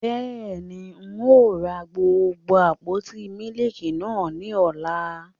Bẹ́ẹ̀ni, Ń ó ra gbogbo àpótí mílíkì náà ni ọ́la.